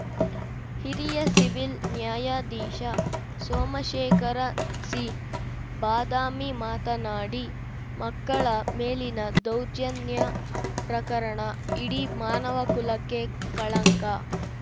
ಹಿರಿಯ ಸಿವಿಲ್‌ ನ್ಯಾಯಾಧೀಶ ಸೋಮಶೇಖರ ಸಿಬಾದಾಮಿ ಮಾತನಾಡಿ ಮಕ್ಕಳ ಮೇಲಿನ ದೌರ್ಜನ್ಯ ಪ್ರಕರಣ ಇಡೀ ಮಾನವ ಕುಲಕ್ಕೆ ಕಳಂಕ